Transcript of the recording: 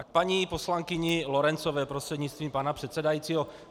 A k paní poslankyni Lorencové prostřednictvím pana předsedajícího.